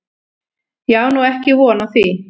Ég á nú ekki von á því.